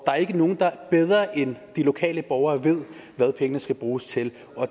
er ikke nogen der bedre end de lokale borgere ved hvad pengene skal bruges til